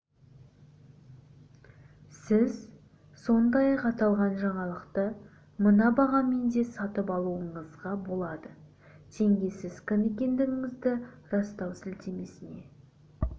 сіз сондай-ақ аталған жаңалықты мына бағамен де сатып алуыңызға болады теңге сіз кім екендігіңізді растау сілтемесіне